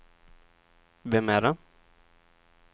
vem är det